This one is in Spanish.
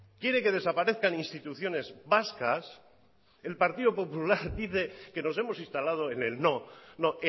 quiere que desaparezcan instituciones vascas el partido popular dice que nos hemos instalado en el no no